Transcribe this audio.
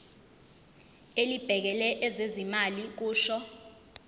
elibhekele ezezimali kusho